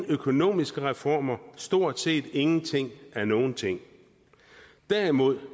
økonomiske reformer der stort set ingenting af nogen ting derimod